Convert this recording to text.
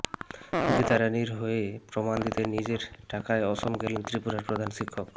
গীতা রাণির হয়ে প্রমাণ দিতে নিজের টাকায় অসম গেলেন ত্রিপুরার প্রধান শিক্ষক